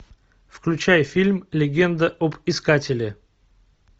включай фильм легенда об искателе